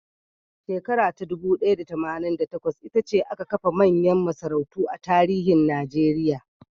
Shekara ta dubu ɗaya da tamanin da takwas, ita ce aka kafa manyan masarautu a tarihin Najeriya.